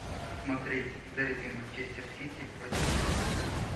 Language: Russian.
смотреть дерби манчестер сити против ливерпуля